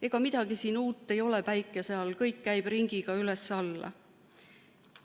Ega midagi uut ei ole päikese all, kõik käib ringiga üles-alla.